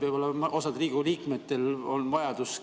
Võib-olla osal Riigikogu liikmetel on siis ka vajadus